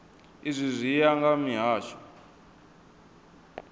izwi zwi ya nga mihasho